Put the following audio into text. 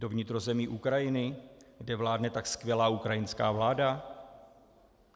Do vnitrozemí Ukrajiny, kde vládne tak skvělá ukrajinská vláda?